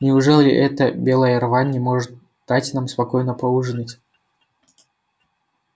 неужели эта белая рвань не может дать нам спокойно поужинать